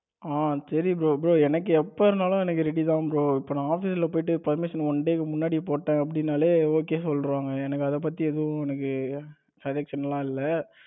அஹ சரி bro bro எனக்கு எப்ப இருந்தாலும் எனக்கு ready தான் bro இப்ப நான் office ல போயிட்டு permission one day கு முன்னாடி போட்டேன் அப்படின்னாலே okay சொல்லிடுவாங்க எனக்கு அதை பத்தி எதுவும் எனக்கு suggestion எல்லாம் இல்ல.